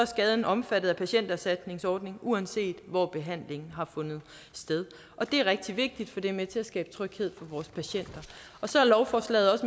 skaden omfattet af patienterstatningsordningen uanset hvor behandlingen har fundet sted og det er rigtig vigtigt for det er med til at skabe tryghed vores patienter så er lovforslaget